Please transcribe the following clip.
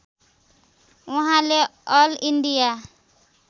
उहाँले all India